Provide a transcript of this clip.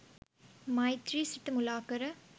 මෛත්‍රි සිත මුලාකර